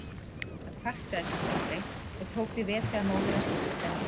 Hann kvartaði samt aldrei og tók því vel þegar móðir hans giftist að nýju.